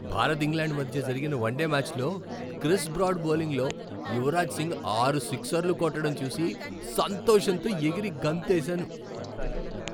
Bharat, England మధ్య జరిగిన one day మ్యాచ్లో క్రిస్ బ్రాడ్ బౌలింగ్లో యువరాజ్ సింగ్ ఆరు సిక్సర్లు కొట్టడం చూసి సంతోషంతో ఎగిరి గంతేసాను.